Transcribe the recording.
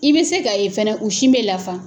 I be se k'a ye fɛnɛ u sin bɛ lafa